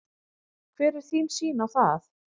Hver er þín sýn á það?